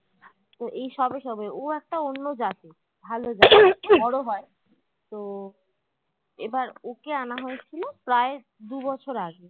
তো এই সবে সবে ও একটা অন্য জাতের ভালো জাত বড়ো হয় তো এবার ওকে আনা হয়েছিল প্রায় দু বছর আগে